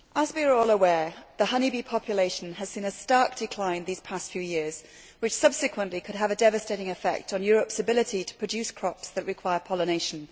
Madam President, as we are all aware, the honeybee population has seen a stark decline these past few years, which subsequently could have a devastating effect on Europe's ability to produce crops that require pollination.